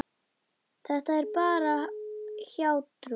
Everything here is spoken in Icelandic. Þetta er bara hjátrú.